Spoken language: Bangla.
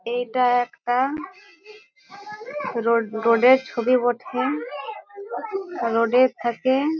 এটা একটা রোড রোড -এর ছবি বটেরোড এর থেকে --